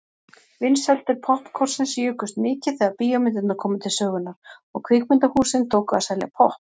Vinsældir poppkornsins jukust mikið þegar bíómyndirnar komu til sögunnar og kvikmyndahúsin tóku að selja popp.